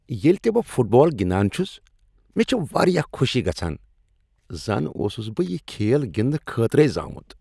ییٚلہ تِہ بہٕ فٹ بال گنٛدان چھس، مےٚ چھ واریاہ خوشی گژھان۔ زن اوسس بہٕ یہ کھیل گندنہٕ خٲطرَے زامُت۔